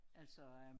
Altså øh